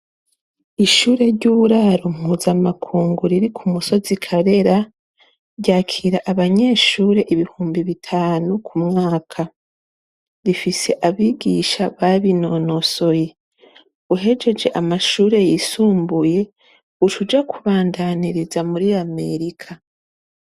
Ishure ryuburaro mpuzamakungu riri kumusozi karera ryakira abanyeshure ibihumbi bitanu kumwaka rifise abigisha babinonosoye uhejeje amashure yisumbuye ucuja kubandaniriza muri america